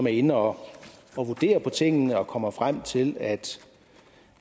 inde og vurdere på tingene og kommer frem til at